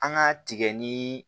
An ka tigɛ ni